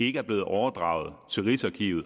ikke er blevet overdraget til rigsarkivet